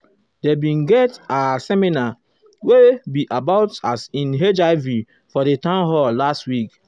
there been get ah seminar wey be about as in hiv um for di town hall last week.